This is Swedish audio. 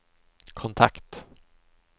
kontakt